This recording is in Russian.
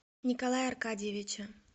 николая аркадьевича